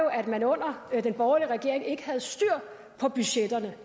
at man under den borgerlige regering ikke havde styr på budgetterne